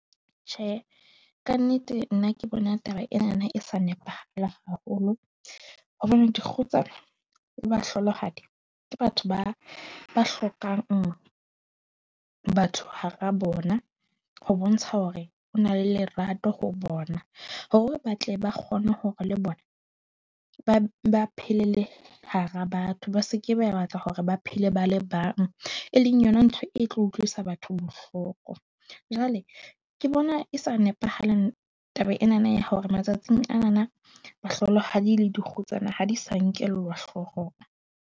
Tjhe, ka nnete nna ke bona taba ena na e sa nepahala haholo hobane dikgutsana le bahlohadi. Ke batho ba ba hlokang batho hara bona ho bontsha hore o na le lerato ho bona. Hore batle ba kgone hore le bona, ba phele le hara batho. Ba se ke ba batla hore ba phele ba le bang, e leng yona ntho e tlo utlwisa batho bohloko. Jwale ke bona e sa nepahalang taba ena na ya hore matsatsing ana na, mohlolohadi le dikgutsana ha di sa nkellwa hloohong.